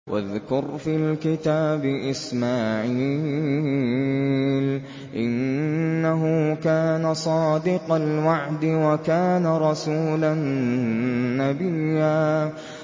وَاذْكُرْ فِي الْكِتَابِ إِسْمَاعِيلَ ۚ إِنَّهُ كَانَ صَادِقَ الْوَعْدِ وَكَانَ رَسُولًا نَّبِيًّا